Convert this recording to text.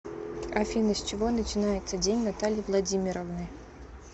афина с чего начинается день натальи владимировны